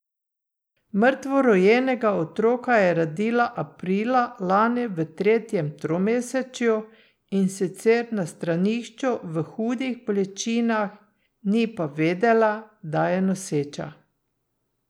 Mrtvorojenega otroka je rodila aprila lani v tretjem tromesečju, in sicer na stranišču v hudih bolečinah, ni pa vedela, da je noseča.